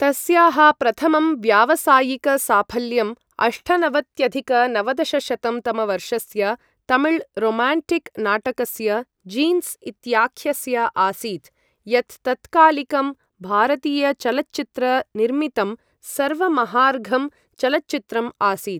तस्याः प्रथमं व्यावसायिकसाफल्यं अष्टनवत्यधिक नवदशशतं तमवर्षस्य तमिळ् रोमाण्टिक् नाटकस्य जीन्स् इत्याख्यस्य आसीत्, यत् तत्कालिकं भारतीयचलच्चित्रनिर्मितं सर्वमहार्घं चलच्चित्रम् आसीत्।